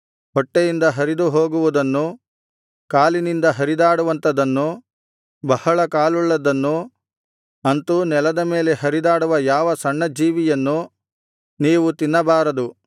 ಹೊಟ್ಟೆಯಿಂದ ಹರಿದು ಹೋಗುವುದನ್ನು ಕಾಲಿನಿಂದ ಹರಿದಾಡುವಂಥದನ್ನು ಬಹಳ ಕಾಲುಳ್ಳದ್ದನ್ನು ಅಂತೂ ನೆಲದ ಮೇಲೆ ಹರಿದಾಡುವ ಯಾವ ಸಣ್ಣ ಜೀವಿಯನ್ನು ನೀವು ತಿನ್ನಬಾರದು ಅವು ಅಸಹ್ಯವಾಗಿವೆ